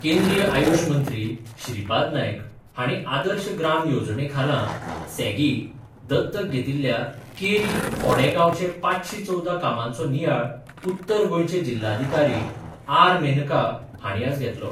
केंद्रीय आयुष मंत्री श्रीपाद नायक हांणी आदर्श ग्राम येवजणे खाला, सॅगी, दत्तक घेतिल्ल्या केरी फोंडें गांवचे पांचशी चवदा कामांचो नियाळ उत्तर गोंयचे जिल्ल्यलाधिकारी आर मेनका हांणी आज घेतलो.